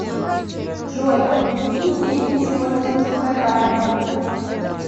джой какие деньги используются в катаре